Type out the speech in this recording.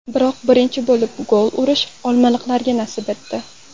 Biroq birinchi bo‘lib gol urish olmaliqliklarga nasib etdi.